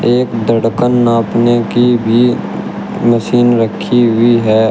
एक धड़कन नापने की भी मशीन रखी हुई है।